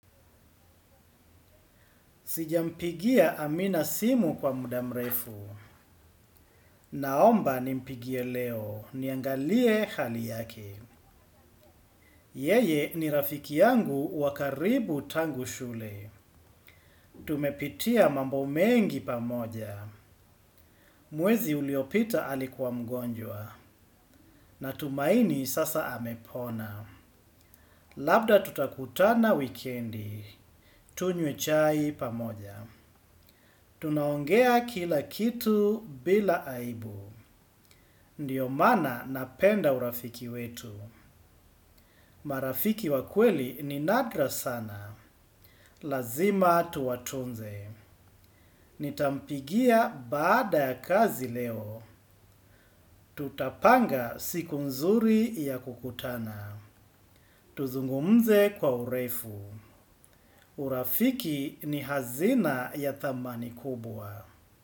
Sijampigia Amina simu kwa muda mrefu. Naomba nimpigie leo. Niangalie hali yake. Yeye ni rafiki yangu wakaribu tangu shule. Tumepitia mambo mengi pamoja. Mwezi uliopita alikuwa mgonjwa. Na tumaini sasa amepona. Labda tutakutana wikendi. Tunywe chai pamoja. Tunaongea kila kitu bila aibu. Ndiyo mana napenda urafiki wetu. Marafiki wa kweli ni nadra sana. Lazima tuwatunze. Nitampigia baada ya kazi leo. Tutapanga siku nzuri ya kukutana. Tuzungumze kwa urefu. Urafiki ni hazina ya thamani kubwa.